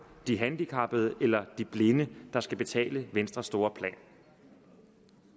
de handicappede eller de blinde der skal betale venstres store plan